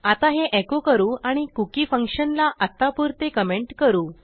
आता हे एको करू आणि cookieफंक्शनला आत्तापुरते कमेंट करू